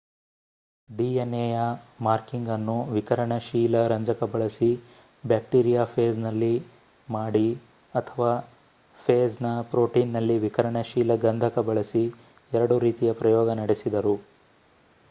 dnaಯ ಮಾರ್ಕಿಂಗ್‍‌ಅನ್ನು ವಿಕಿರಣಶೀಲ ರಂಜಕ ಬಳಸಿ ಬ್ಯಾಕ್ಟೀರಿಯಾಫೇಜ್‌ನಲ್ಲಿ ಮಾಡಿ ಅಥವಾ ಫೇಜ್‌ನ ಪ್ರೊಟೀನ್‍‌ನಲ್ಲಿ ವಿಕಿರಣಶೀಲ ಗಂಧಕ ಬಳಸಿ ಎರಡು ರೀತಿಯ ಪ್ರಯೋಗ ನಡೆಸಿದರು